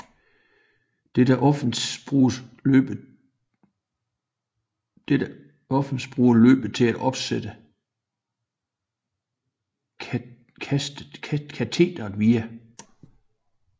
Dette offense bruger løbet til at opsætte kastet via